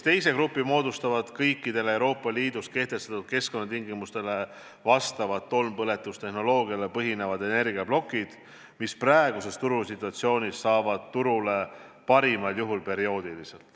Teise grupi moodustavad kõikidele Euroopa Liidus kehtestatud keskkonnatingimustele vastavad tolmpõletustehnoloogial põhinevad energiaplokid, mis praeguses turusituatsioonis töötavad pigem perioodiliselt.